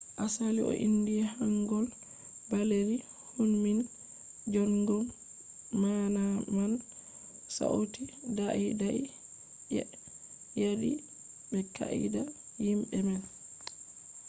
asali o indi hangeul baleeri hunmin jeongeum maana man sauti daidai je yaadi be qaa’ida himbe man’’